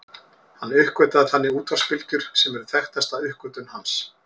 Hann uppgötvaði þannig útvarpsbylgjur sem eru þekktasta uppgötvun hans.